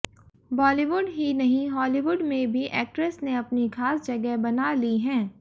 बॉलीवुड ही नहीं हॉलीवुड में भी एक्ट्रेस ने अपनी खास जगह बना ली हैं